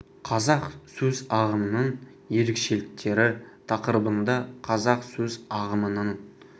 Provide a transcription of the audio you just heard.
қазақ сөз ағымының ерекшеліктері тақырыбында қазақ сөз ағымының ерекшеліктерін түсіндіруде өте тиімді болды